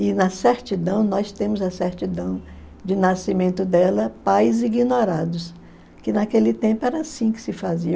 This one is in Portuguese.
E na certidão, nós temos a certidão de nascimento dela pais ignorados, que naquele tempo era assim que se fazia.